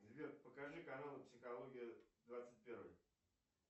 сбер покажи канал психология двадцать первый